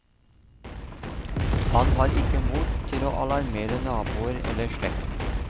Han har ikke mot til å alarmere naboer eller slekt.